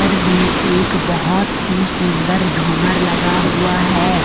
में एक बहुत ही सुंदर झुमर लगा हुआ है।